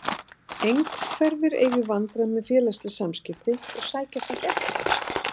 Einhverfir eiga í vandræðum með félagsleg samskipti og sækjast ekki eftir þeim.